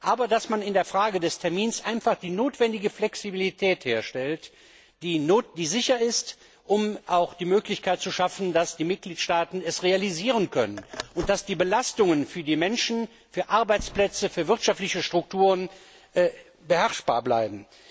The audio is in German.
Und man muss in der Frage des Termins einfach die notwendige Flexibilität herstellt, die erforderlich ist, um auch die Möglichkeit zu schaffen, dass die Mitgliedstaaten es realisieren können, dass die Belastungen für die Menschen, für Arbeitsplätze, für wirtschaftliche Strukturen beherrschbar bleiben.